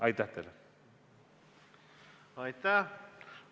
Aitäh!